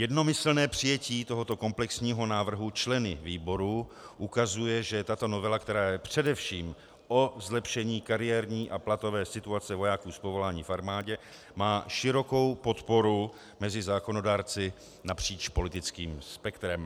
Jednomyslné přijetí tohoto komplexního návrhu členy výboru ukazuje, že tato novela, která je především o zlepšení kariérní a platové situace vojáků z povolání v armádě, má širokou podporu mezi zákonodárci napříč politickým spektrem.